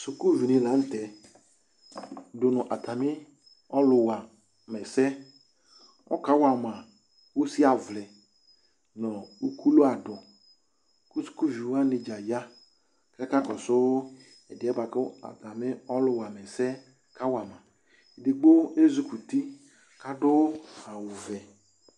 Sʋkuviɖi lanʋtɛ k'atami ɔlʋwaɛsɛ, ɔkawama ʋsi avli nʋ ukulu aɖʋsukuviwa dza yaa k'akakɔsʋ ɛɖiɛ k'ɔlʋ wamɛsɛ k'awama kʋ ezukuti k'aɖʋ awu vɛ